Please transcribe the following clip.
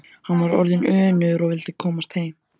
Hann var orðinn önugur og vildi komast heim.